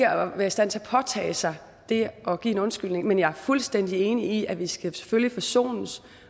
at være i stand til at påtage sig det her at give en undskyldning men jeg er fuldstændig enig i at vi selvfølgelig skal forsones